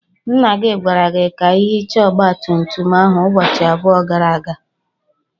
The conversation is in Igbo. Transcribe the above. Nna gi gwara gi ka ihicha ogba tum tum ahu ubochi abuo gara aga.